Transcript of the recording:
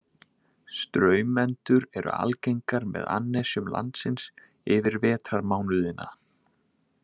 Straumendur eru algengar með annesjum landsins yfir vetrarmánuðina.